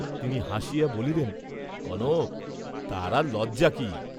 তিনি হাসিয়া বলিলেন, কনক, তার আর লজ্জা কি?